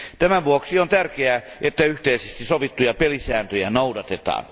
Tämän vuoksi on tärkeää, että yhteisesti sovittuja pelisääntöjä noudatetaan.